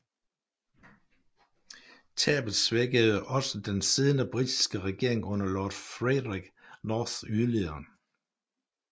Tabet svækkede også den siddende britiske regering under lord Frederick North yderligere